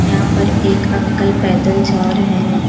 यहा पर एक अंकल पैदल जा रहे हैं।